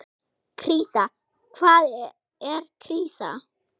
Krísa, hvað er krísa?